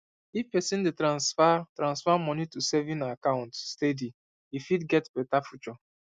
if person dey transfer transfer moni to saving account steady e fit get better future